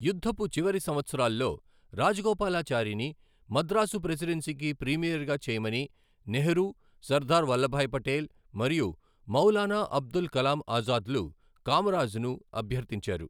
యుద్ధపు చివరి సంవత్సరాల్లో, రాజగోపాలాచారిని మద్రాసు ప్రెసిడెన్సీకి ప్రీమియర్గా చేయమని నెహ్రూ, సర్దార్ వల్లభాయ్ పటేల్ మరియు మౌలానా అబుల్ కలాం ఆజాద్లు కామరాజ్ను అభ్యర్థించారు.